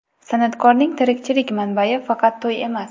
San’atkorning tirikchilik manbai faqat to‘y emas.